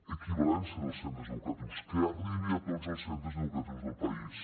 equivalència dels centres educatius que arribi a tots els centres educatius del país